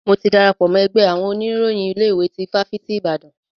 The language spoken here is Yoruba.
Mo ti darapọ̀ mọ́ ẹgbẹ́ àwọn oníròyìn ilé ìwé tí ifáfitì Ibadan.